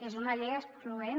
és una llei excloent